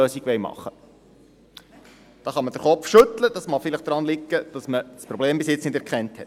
Da kann man den Kopf schütteln, das mag vielleicht daran liegen, dass man das Problem bisher nicht erkannt hat.